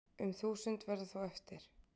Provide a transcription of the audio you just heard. Um þúsund verða þó eftir